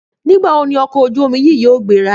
Nígbà wo ni ọkọ̀ ojú-omi yìí yóò gbéra?